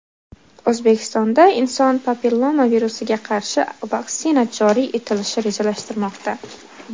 O‘zbekistonda inson papilloma virusiga qarshi vaksina joriy etilishi rejalashtirilmoqda.